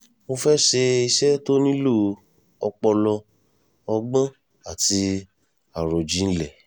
mo fẹ́ẹ́ ṣe iṣẹ́ tó nílò ọpọlọ ọgbọ́n àti àròjinlẹ̀